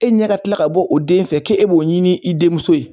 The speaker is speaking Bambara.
E ɲɛ ka kila ka bɔ o den fɛ ke e b'o ɲini i denmuso ye